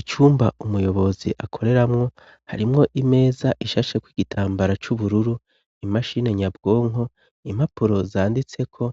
Icumba umuyobozi akoreramwo, harimwo imeza ishashe kw'igitambara c'ubururu, imashine nyabwonko, impapuro zanditseko,